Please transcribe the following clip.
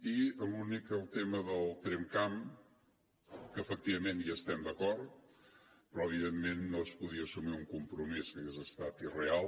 i l’únic el tema del tramcamp que efectivament hi estem d’acord però evidentment no es podia assumir un compromís que hagués estat irreal